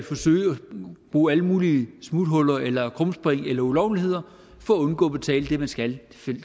bruge alle mulige smuthuller eller krumspring eller ulovligheder for at undgå at betale det man skal